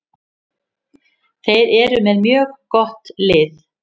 Þeir eru með mjög gott lið.